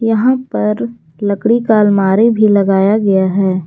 यहाँ पर लकड़ी का अलमारी भी लगाया गया है।